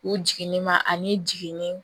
U jiginni ma ani jiginin